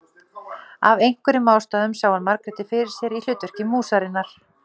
Af einhverjum ástæðum sá hann Margréti fyrir sér í hlutverki músarinnar.